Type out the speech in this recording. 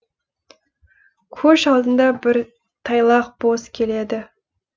көш алдында бір тайлақ бос келеді